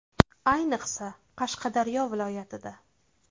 Ayniqsa, Qashqadaryo viloyatida.